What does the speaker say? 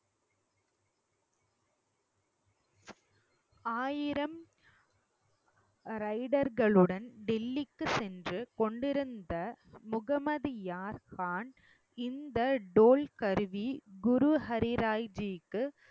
ஆயிரம் rider களுடன் டெல்லிக்கு சென்று கொண்டிருந்த முகமதுயான்கான் இந்த டோல் கருவி குரு ஹரி ராய் ஜிக்கு